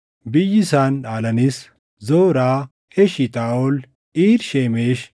Biyyi isaan Dhaalanis: Zoraa, Eshitaaʼol, Iir Shemeshi,